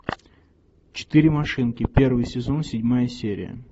четыре машинки первый сезон седьмая серия